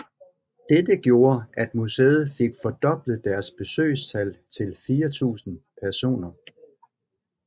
Dette gjorde at museet fik fordoblet deres besøgstal til 4000 personer